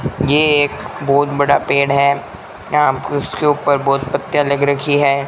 ये एक बहुत बड़ा पेड़ है यहां इसके ऊपर बहुत पत्तियां लग रखी हैं।